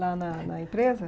Lá na na empresa?